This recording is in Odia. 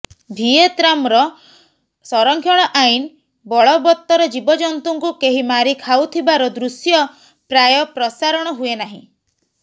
ଭିଏତ୍ନାମର ସଂରକ୍ଷଣ ଆଇନ୍ ବଳବତ୍ତର ଜୀବଜନ୍ତୁଙ୍କୁ କେହି ମାରି ଖାଉଥିବାର ଦୃଶ୍ୟ ପ୍ରାୟ ପ୍ରସାରଣ ହୁଏ ନାହିଁ